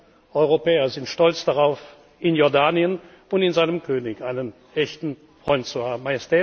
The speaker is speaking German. Wir Europäer sind stolz darauf, in Jordanien und in seinem König einen echten Freund zu haben.